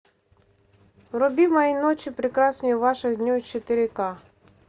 вруби мои ночи прекраснее ваших дней четыре ка